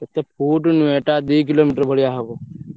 କେତେ ଫୁଟ ନୁହେଁ ଏଇଟା ଦୁଇ kilometre ଭଳିଆ ହବ।